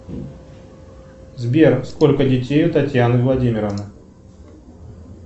сбер сколько детей у татьяны владимировны